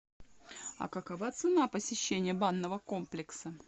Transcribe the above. а какова цена посещения банного комплекса